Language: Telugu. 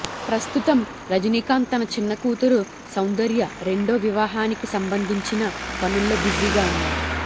ప్రస్తుతం రజనీకాంత్ తన చిన్న కూతురు సౌందర్య రెండో వివాహానికి సంబంధించిన పనుల్లో బిజీగా ఉన్నారు